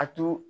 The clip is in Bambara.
A to